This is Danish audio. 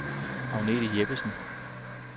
Agnethe Jeppesen